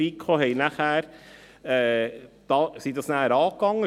Wir von der FiKo gingen dies nachher an.